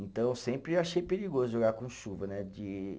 Então eu sempre achei perigoso jogar com chuva, né? De